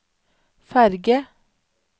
ferge